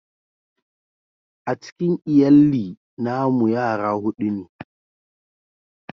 A cikin lyalli na mu yara hudu ne.